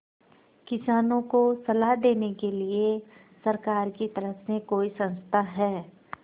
किसानों को सलाह देने के लिए सरकार की तरफ से कोई संस्था है